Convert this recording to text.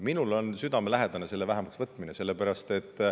Minule on südamelähedane selle vähendamine.